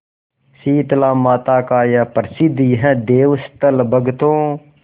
शीतलामाता का प्रसिद्ध यह देवस्थल भक्तों